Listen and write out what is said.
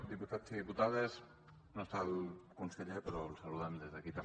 diputats i diputades no hi és el conseller però el saludem des d’aquí també